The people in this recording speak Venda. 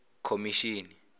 khomishini